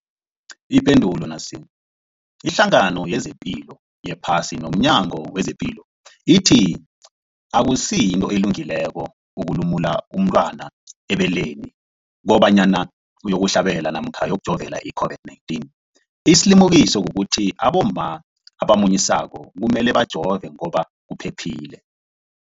Ipendulo, iHlangano yezePilo yePhasi nomNyango wezePilo ithi akusinto elungileko ukulumula umntwana ebeleni kobanyana uyokuhlabela namkha uyokujovela i-COVID-19. Isilimukiso kukuthi abomma abamunyisako kumele bajove ngoba kuphephile.